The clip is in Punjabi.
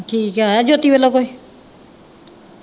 ਠੀਕ ਆ। ਆਇਆ ਜੋਤੀ ਵਲੋਂ ਕੁੱਝ।